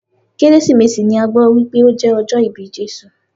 Kérésìmesì ni a gbọ́ wípé o jẹ́ ọjọ́ ìbí Jésù.